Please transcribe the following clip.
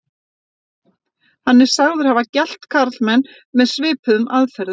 Hann er sagður hafa gelt karlmenn með svipuðum aðferðum.